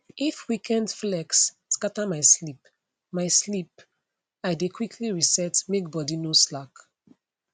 if weekend flex scatter my sleep my sleep i dey quickly reset make body no slack